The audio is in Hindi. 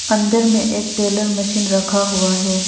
अंदर में एक टेलर मशीन रखा हुआ है।